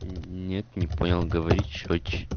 нет не понял говори чётче